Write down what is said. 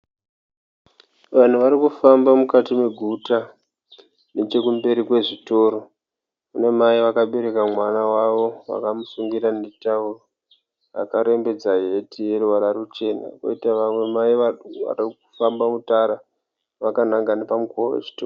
Vanhu vari kufamba mukati meguta nechekumberi kwezvitoro. Kuna mai vakabereka mwana wavo, vakamusungirira netauro, akarembedza heti yeruvara ruchena, koita vamwe mai vari kuda kufamba mutara vakananga pamukova wechitoro.